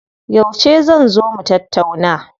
Yauce zan zo mu tattauna?